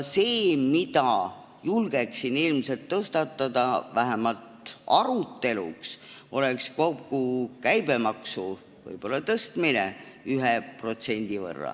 See küsimus, mida julgeksin ilmselt tõstatada, vähemalt aruteluks, oleks kogu käibemaksu tõstmine võib-olla 1%.